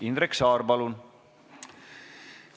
Indrek Saar, palun!